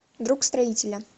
друг строителя